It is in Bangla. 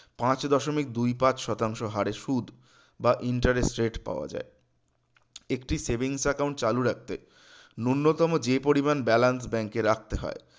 পাঁচ দশমিক দুই পাঁচ শতাংশ হারে সুদ বা interest rate পাওয়া যায় একটি savings account চালু রাখতে নূন্যতম যে পরিমান balance bank এ রাখতে হয়